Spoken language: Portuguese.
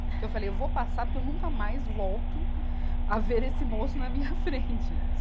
Que eu falei, eu vou passar porque eu nunca mais volto a ver esse moço na minha frente.